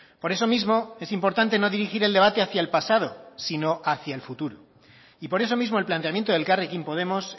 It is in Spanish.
por eso mismo es importante no dirigir el debate hacia el pasado sino hacia el futuro y por eso mismo el planteamiento de elkarrekin podemos